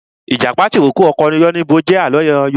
Ìjàpá tìrókó ọkọ yánníbo jẹ àlọ́ Yorùbá